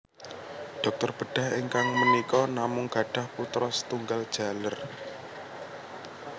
Dokter bedah ingkang menika namung gadhah putro setunggal jaler